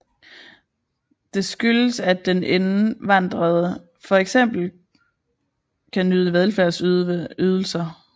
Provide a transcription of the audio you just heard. Det skyldes at den indvandrede for eksempel kan nyde velfærdsydelser